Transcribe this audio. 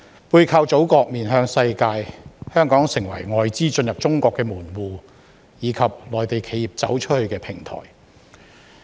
背靠祖國，面向世界，香港成為外資進入中國的門戶，以及內地企業"走出去"的平台。